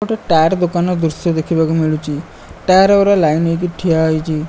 ଗୋଟେ ଟାୟାର ଦୋକାନ ଦୃଶ୍ୟ ଦେଖିବାକୁ ମିଳୁଚି ଟାୟାର୍ ଉରା ଲାଇନ୍ ହେଇକି ଠିଆହୋଇଛି ।